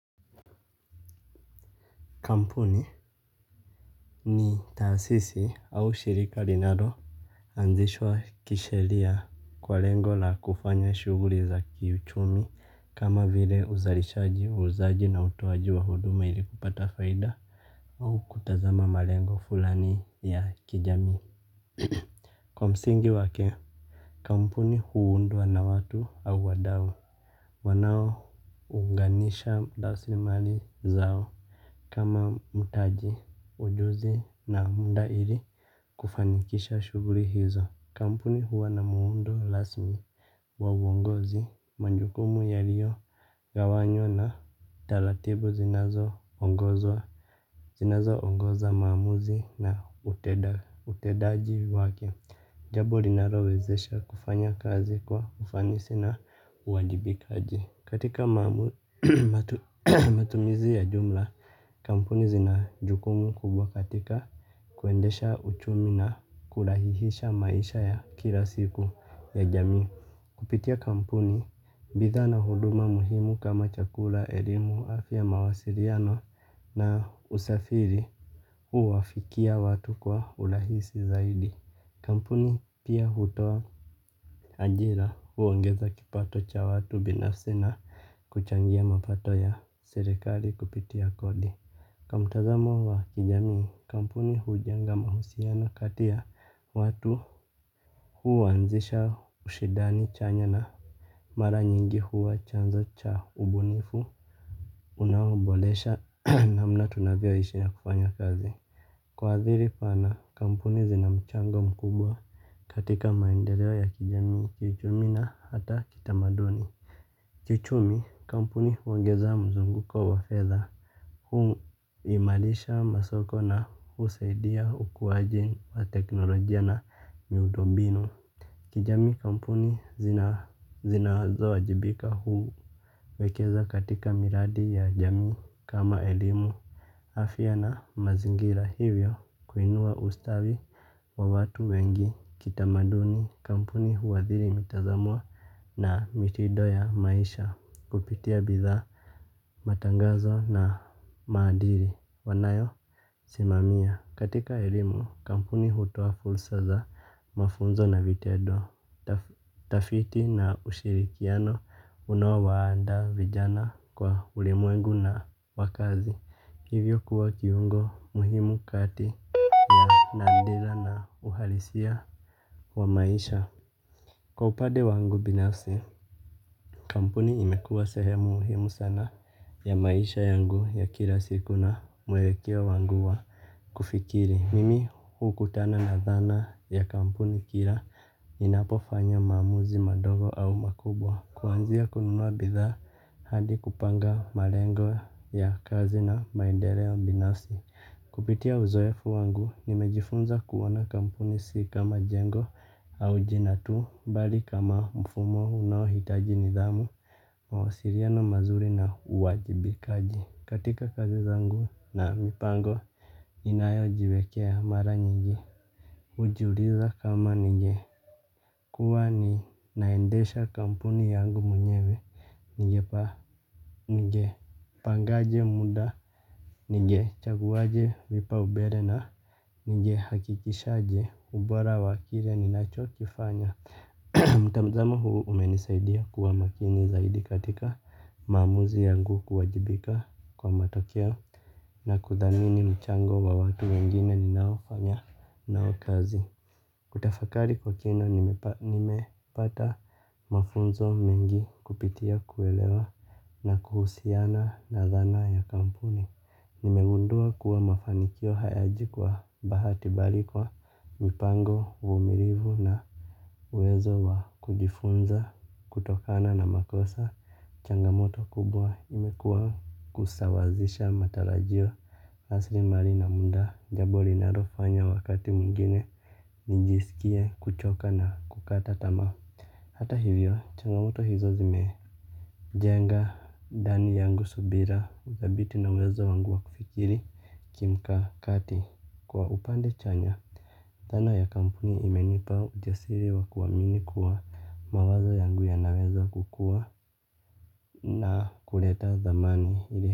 Kampuni ni taasisi au shirika rinalo anzishwa kishelia kwa lengo la kufanya shughuri za kiuchumi kama vile uzalishaji uuzaji na utoaji wa huduma ilikupata faida. Au kutazama malengo fulani ya kijamii. Kwa msingi wake kampuni huundwa na watu au wadau wanao unganisha rasi mali zao. Kama mtaji, ujuzi na munda ili kufanikisha shughuli hizo. Kampuni huwa na muundo rasmi wa uongozi, majukumu yaliogawanywa na taratibu zinazo ongozwa. Zinazo ongoza maamuzi na utendaji wake. Jambo linarowezesha kufanya kazi kwa ufanisi na uwajibikaji. Katika matumizi ya jumla, kampuni zinajukumu kubwa katika kuendesha uchumi na kulahihisha maisha ya kila siku ya jamii. Kupitia kampuni, bidhaa na huduma muhimu kama chakula, elimu, afya mawasiliano na usafiri uwafikia watu kwa urahisi zaidi. Kampuni pia hutoa ajira huo ngeza kipato cha watu binafsi na kuchangia mapato ya serikali kupitia kodi. Kwamtazamo wa kijani kampuni hujanga mahusiano kati ya watu huanzisha ushindani chanya mara nyingi huwa chanzo cha ubunifu unaoboresha namna tuvyoishi na kufanya kazi. Kwa adhiri pana kampuni zina mchango mkubwa katika maendeleo ya kijamii kichumi na hata kitamaduni. Kiuchumi kampuni huongeza mzunguko wa fedha. Hu imalisha masoko na usaidia ukuwaji wa teknolojia na miundombinu. Kijami kampuni zina wazo wajibika huu wekeza katika miradi ya jamii kama elimu. Afya na mazingira hivyo kuinua ustawi wa watu wengi kitamaduni kampuni huadhiri mitazamo na mitindo ya maisha kupitia bidhaa matangazo na maadil wanayo simamia. Katika elimu kampuni hutoa fulsaza mafunzo na vitendo. Tafiti na ushirikiano unawa waanda vijana kwa ulimwengu na wakazi. Hivyo kuwa kiungo muhimu kati ya nandila na uhalisia wa maisha. Kwa upade wangu binafsi kampuni imekua sehemu muhimu sana ya maisha yangu ya kila siku na mwelekeo wangu wa kufikiri. Mimi hukutana na dhana ya kampuni kila inapofanya mamuzi madogo au makubwa. Kwanzia kununua bidhaa hadi kupanga malengo ya kazi na maendeleo binasi. Kupitia uzoefu wangu nimejifunza kuwana kampuni si kama jengo au jinatu. Bali kama mfumo unahitaji nidhamu mawasiliano mazuri na uwajibikaji. Katika kazi zangu na mipango inayo jiwekea mara nyingi. Ujuliza kama ninge kuwa ni naendesha kampuni yangu mwenyewe. Ninge pa ninge pangaje muda. Ninge chaguwaje vipa umbele na ninge hakikishaje ubora wakile ni nacho kifanya. Mtamzamo huu umenisaidia kuwa makini zaidi katika maamuzi yangu kuwajibika kwa matokeo na kuthamini mchango wa watu wengine ni naofanya nao kazi. Kutafakari kwa kina nimepata mafunzo mengi kupitia kuelewa na kuhusiana na dhana ya kampuni. Nimegundua kuwa mafanikio hayaji kwa bahati balikwa mipango uvumilivu na uwezo wa kujifunza kutokana na makosa. Changamoto kubwa imekuwa kusawazisha matarajio rasilimari na muda jambo linaloofanya wakati mwingine nimesikia kuchoka na kukata tamaa. Hata hivyo changamoto hizo zimee jenga ndani yangu subira thabiti na uwezo wangu wa kufikiri kimka kati. Kwa upande chanya dhana ya kampuni imenipa ujasiri wa kuaminikuwa mawazo yangu ya na weza kukua. Na kuleta dhamani.